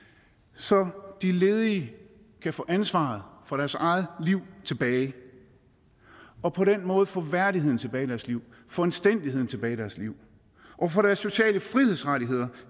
så de ledige kan få ansvaret for deres eget liv tilbage og på den måde få værdigheden tilbage i deres liv få anstændigheden tilbage i deres liv og få deres sociale frihedsrettigheder